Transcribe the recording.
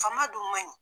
Faama dun man ɲi